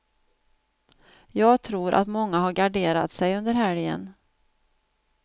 Jag tror att många har garderat sig under helgen.